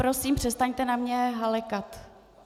Prosím, přestaňte na mě halekat.